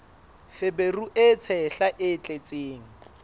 feberu e tshehla e tletseng